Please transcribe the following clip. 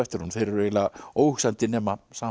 honum þeir eru eiginlega óhugsandi nema saman